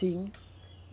Sim.